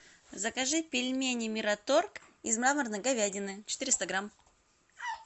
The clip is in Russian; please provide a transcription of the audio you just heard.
закажи пельмени мираторг из мраморной говядины четыреста грамм